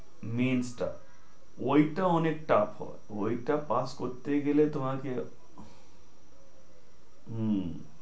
mense টা, ঐটা অনেক tuff হয়। ঐটা pass করতে গেলে তোমাকে। হু